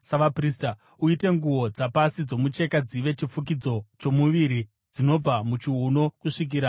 “Uite nguo dzapasi dzomucheka dzive chifukidzo chomuviri, dzinobva muchiuno kusvikira kumabvi.